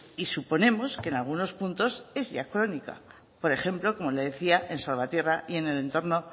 y suponemos que en algunos puntos es ya crónica por ejemplo como le decía en salvatierra y en el entorno